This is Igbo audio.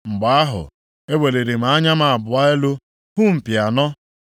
Mgbe ahụ, eweliri m anya m abụọ elu hụ mpi anọ.